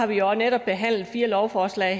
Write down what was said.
vi har jo netop behandlet fire lovforslag